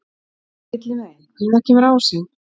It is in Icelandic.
Villimey, hvenær kemur ásinn?